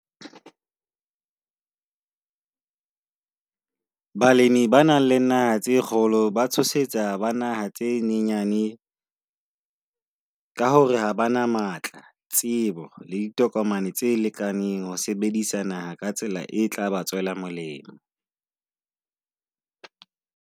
Balemi ba nang le naha tse kgolo ba tshosetsa ba naha tse nyenyane ka hore ha bana matla, tsebo le ditokomane tse lekaneng ho sebedisa naha ka tsela e tlaba tswela molemo.